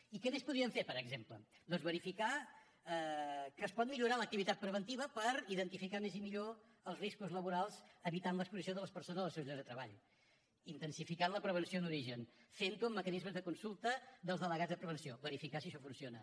i què més podríem fer per exemple doncs verificar que es pot millorar l’activitat preventiva per identificar més i millor els riscos laborals evitant l’exposició de les persones als seus llocs de treball intensificant la prevenció d’origen fent ho amb mecanismes de consulta dels delegats de prevenció verificar si això funciona